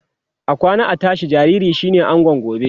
akwana a tashi ɗan jinjiri shine angon gobe